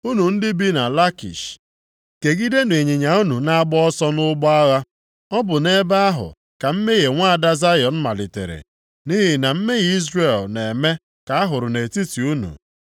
Unu ndị bi na Lakish kegidenụ ịnyịnya unu na-agba ọsọ nʼụgbọ agha. Ọ bụ nʼebe ahụ ka mmehie nwaada Zayọn malitere, nʼihi na mmehie Izrel na-eme ka a hụrụ nʼetiti unu.